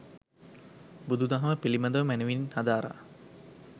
බුදු දහම පිළිබඳව මැනවින් හදාරා